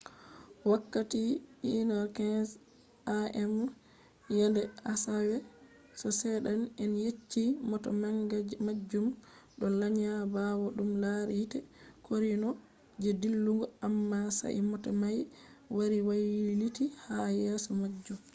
wakkati 1:15 a.m. yende asawe no seeda'en yecci mota manga majum do lanya bawo dum lari yite korino je dillugo amma sai mota mai wari wailiti ha yeso majum